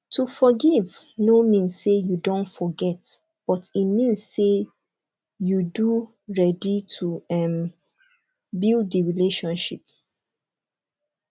to forgive no mean sey you don forget but e mean sey you do ready to um build di relationship